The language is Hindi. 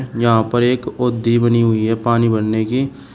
यहां पर एक ओधी बनी हुई है पानी भरने की--